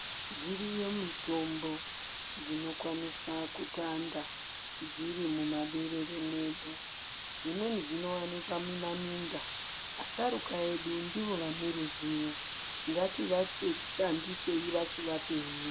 Dziriyo mitombo dzinokwanisa kutanda dzirimuma berere mwedu. Dzimweni dzinovanikwa mumaminda asharukwa edu ndivo ane ruzivo ndativashandisei vachivapenyu.